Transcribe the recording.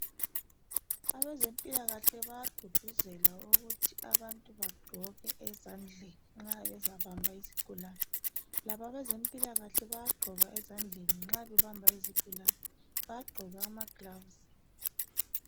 Abezempila lkahle bayagqugquzela ukuthi abantu bagqoke ezandleni nxa bezabamba izigulani labo abezempilakahle bayagqoka ezandleni nxa bebamba izigulani bayagqoka amaglaves